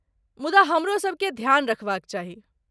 मुदा हमरो सबकेँ ध्यान रखबाक चाही।